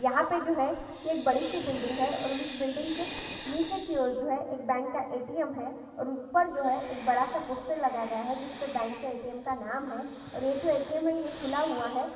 यहाँ पे जो है एक बड़ी सी बिल्डिंग है और उस बिल्डिंग के नीचे की और जो है एक बैंक का एटीएम है और ऊपर जो है एक बड़ा सा पोस्टर लगाया गया है जिसपे बैंक के एटीएम का नाम हैये जो एटीएम है ये खुला हुआ है।